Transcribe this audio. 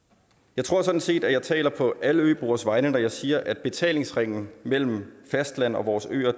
jeg tror sådan set at jeg taler på alle øboeres vegne når jeg siger at betalingsringen mellem fastlandet og vores øer